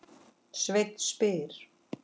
Sveinn spyr